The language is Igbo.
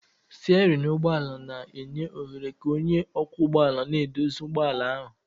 Stéérin ụgbọ ala na-enye ohere ka onye ọkwọ ụgbọala na-eduzi ụgbọ ala ahu